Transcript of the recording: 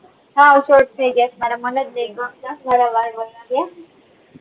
હાવ short થઇ ગયા છે મારા મને જ ની ગમતા મારા વાળ વધાર્યા